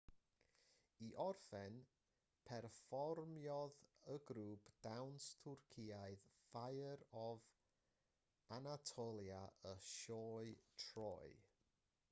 i orffen perfformiodd y grŵp dawns twrcaidd fire of anatolia y sioe troy